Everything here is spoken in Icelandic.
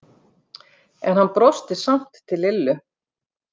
En hann brosti samt til Lillu.